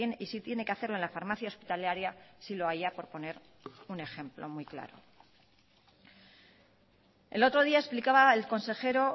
y si tiene que hacerlo en la farmacia hospitalaria si lo haya por poner un ejemplo muy claro el otro día explicaba el consejero